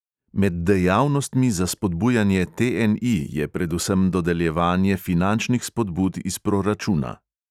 Med dejavnostmi za spodbujanje TNI je predvsem dodeljevanje finančnih spodbud iz proračuna.